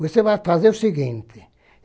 Você vai fazer o seguinte.